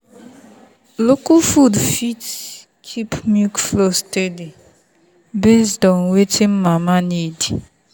local food fit help keep milk flow steady based on wetin mama need.